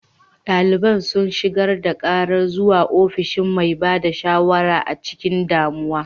Daliban sun shigar da karar zuwa ofishin mai ba da shawara a cikin damuwa.